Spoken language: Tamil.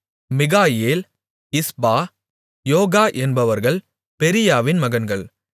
மிகாயேல் இஸ்பா யோகா என்பவர்கள் பெரீயாவின் மகன்கள்